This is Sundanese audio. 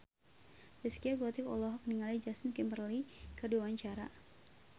Zaskia Gotik olohok ningali Justin Timberlake keur diwawancara